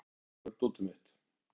Hólmar, hvar er dótið mitt?